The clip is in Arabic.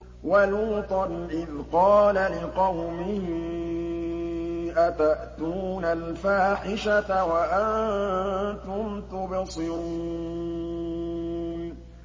وَلُوطًا إِذْ قَالَ لِقَوْمِهِ أَتَأْتُونَ الْفَاحِشَةَ وَأَنتُمْ تُبْصِرُونَ